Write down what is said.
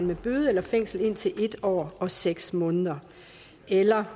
med bøde eller fængsel indtil en år og seks måneder eller